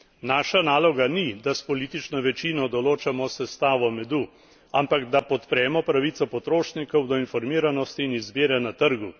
Naša naloga ni, da s politično večino določamo sestavo medu, ampak da podpremo pravico potrošnikov do informiranosti in izbire na trgu.